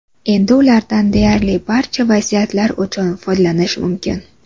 Endi ulardan deyarli barcha vaziyatlar uchun foydalanish mumkin.